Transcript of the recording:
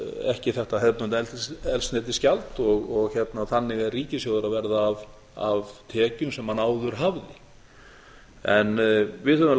ekki þetta hefðbundna eldsneytisgjald og þannig er ríkissjóður að verða af tekjum sem hann áður hafði en við höfum